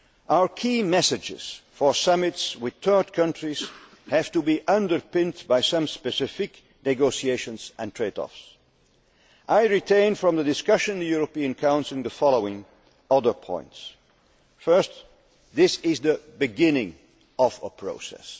Our key messages for summits with third countries have to be underpinned by some specific negotiations and trade offs. I retain from the discussion in the European Council the following other points First, this is the beginning of a process.